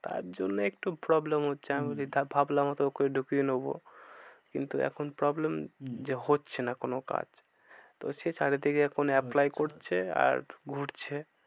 তার জন্যে একটু problem হচ্ছে আমি ভাবলাম হয় তো ওকে ঢুকিয়ে নেবো কিন্তু এখন problem যে হচ্ছে না কোনো কাজ। তো সে চারি দিকে এখন apply করছে আর ঘুরছে।